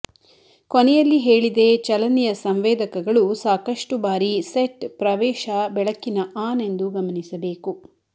ಕೊನೆಯಲ್ಲಿ ಹೇಳಿದೆ ಚಲನೆಯ ಸಂವೇದಕಗಳು ಸಾಕಷ್ಟು ಬಾರಿ ಸೆಟ್ ಪ್ರವೇಶ ಬೆಳಕಿನ ಆನ್ ಎಂದು ಗಮನಿಸಬೇಕು